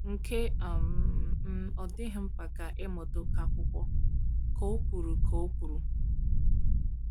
"Nke um m, ọ dịghị mkpa ka ị mụta oké akwúkwó," ka ọ kwuru. ka ọ kwuru.